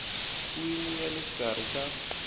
wini ya le xikarhi ka